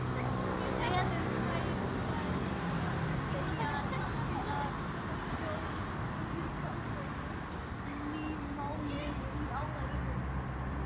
Veðurfræðingar segja þetta sólríkasta júnímánuð í áratugi.